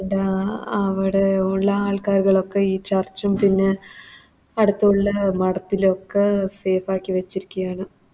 ഡാ അവിടെ ഉള്ളെ ആൾക്കാരുകളൊക്കെ ഈ Church ഉം അടുത്തുള്ളെ മഠത്തിലൊക്കെ Safe ആക്കി വെച്ചിരിക്കാണ്